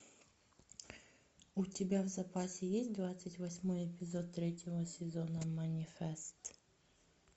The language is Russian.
у тебя в запасе есть двадцать восьмой эпизод третьего сезона манифест